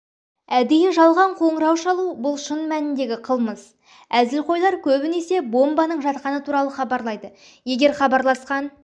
әдейі жалған қоңыра шалу бұл шын мәніндегі қылмыс әзілқойлар көбінесе бомбаның жатқаны туралы хабарлайды егер хабарласқан